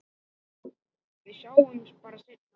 Við sjáumst bara seinna.